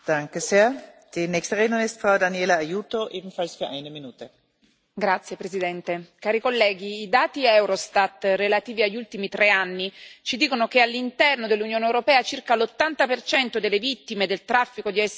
Signora Presidente, onorevoli colleghi, i dati Eurostat relativi agli ultimi tre anni ci dicono che all'interno dell'Unione europea circa l'80 delle vittime del traffico di essere umani è donna.